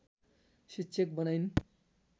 शिक्षक बनाइन्